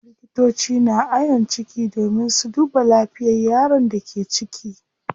Likitoci na ayon ciki domin su duba lafiyar yaron da ke ciki.